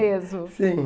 mesmo. Sim